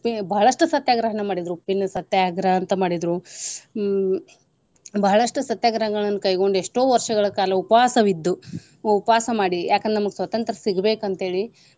ಉಪ್ಪಿ~ ಬಹಳಷ್ಟು ಸತ್ಯಾಗ್ರಹವನ್ನ ಮಾಡಿದ್ರು. ಉಪ್ಪಿನ ಸತ್ಯಾಗ್ರಹ ಅಂತ ಮಾಡಿದ್ರು ಹ್ಮ್‌ ಬಹಳಷ್ಟು ಸತ್ಯಾಗ್ರಹಗಳನ್ನ ಕೈಗೊಂಡ್ ಎಷ್ಟೋ ವರ್ಷಗಳ ಕಾಲ ಉಪವಾಸವಿದ್ದು ಉಪವಾಸ ಮಾಡಿ ಯಾಕ ಅಂದ್ರ ನಮಗ ಸ್ವತಂತ್ರ್ಯ ಸಿಗಬೇಕ ಅಂತೇಳಿ.